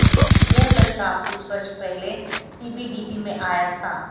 यह प्रस्ताव कुछ वर्ष पहले सीबीडीटी में आया था